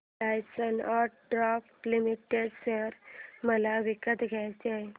Larsen and टुर्बो limited share मला विकत घ्यायचे आहेत